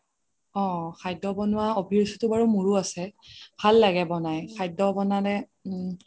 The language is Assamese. অহ খাদ্য বনোৱা অভিৰুচিটো বাৰু মোৰও আছে ভাল লাগে ব্নাই খাদ্য বনালে